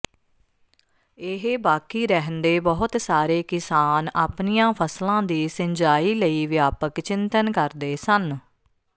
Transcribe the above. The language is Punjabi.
ਇਹ ਬਾਕੀ ਰਹਿੰਦੇ ਬਹੁਤ ਸਾਰੇ ਕਿਸਾਨ ਆਪਣੀਆਂ ਫਸਲਾਂ ਦੀ ਸਿੰਜਾਈ ਲਈ ਵਿਆਪਕ ਚਿੰਤਨ ਕਰਦੇ ਸਨ